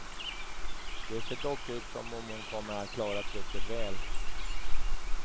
Det ser dock ut som om hon kommer att klara trycket väl.